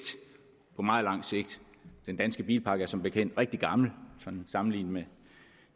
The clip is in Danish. på meget lang sigt den danske bilpark er som bekendt rigtig gammel sammenlignet med